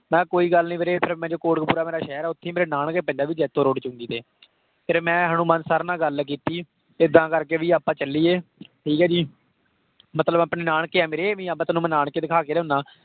ਮੈਂ ਕੋਈ ਗੱਲ ਨੀ ਵੀਰੇ ਕੋਟ ਕਪੂਰਾ ਮੇਰਾ ਸ਼ਹਿਰ ਆ ਉੱਥੇ ਹੀ ਮੇਰੇ ਨਾਨਕੇ ਪੈਂਦਾ ਵੀ ਜੈਤੋਂ road ਫਿਰ ਮੈਂ ਹਨੂੰਮਾਨ sir ਨਾਲ ਗੱਲ ਕੀਤੀ ਏਦਾਂ ਕਰਕੇ ਵੀ ਆਪਾਂ ਚੱਲੀਏ ਠੀਕ ਹੈ ਜੀ ਮਤਲਬ ਆਪਣੇ ਨਾਨਕੇ ਆ ਮੇਰੇ ਵੀ ਨਾਨਕੇ ਦਿਖਾ ਕੇ ਲਿਆਉਨਾ